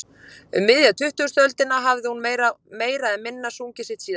Um miðja tuttugustu öldina hafði hún meira eða minna sungið sitt síðasta.